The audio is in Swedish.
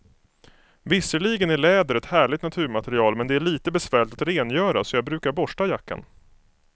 Visserligen är läder ett härligt naturmaterial, men det är lite besvärligt att rengöra, så jag brukar borsta jackan.